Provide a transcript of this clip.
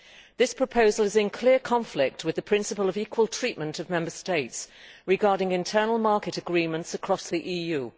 This proposal is in clear conflict with the principle of equal treatment of Member States regarding internal market agreements across the EU.